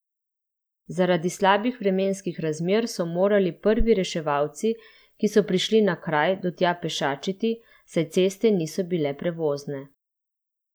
Zaradi slabih vremenskih razmer so morali prvi reševalci, ki so prišli na kraj, do tja pešačiti, saj ceste niso bile prevozne.